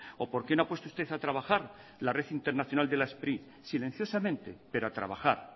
o por qué no ha puesto usted a trabajar la red internacional de la spri silenciosamente pero a trabajar